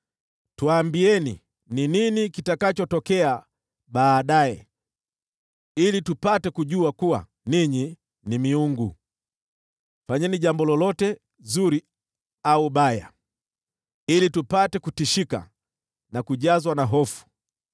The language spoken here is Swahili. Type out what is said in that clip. tuambieni ni nini kitakachotokea baadaye, ili tupate kujua kuwa ninyi ni miungu. Fanyeni jambo lolote zuri au baya, ili tupate kutishika na kujazwa na hofu.